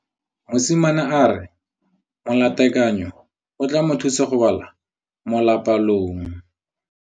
Mosimane a re molatekanyô o tla mo thusa go bala mo molapalong.